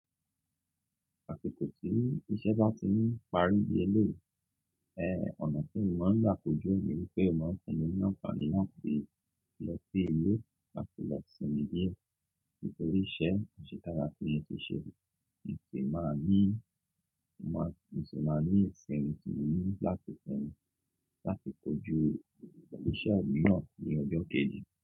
Àsik tí iṣẹ́ bá ti ń parí bí ẹlẹ́yií, ẹ, ọ̀nà tí mo máa ń gbà kojú ni wípé o máa famihàn fún alẹ́ láti lọ sí ilé láti lọ sinmi die ntorí iṣẹ́ àṣẹ táa ga tí mo ti ṣe, kí n lè máa ní, mo máa, kí n lè máa ní ìsẹ́ mi tó mú láti sinmi láti kojú iṣẹ́ mi ran ní ọjọ́ kejì.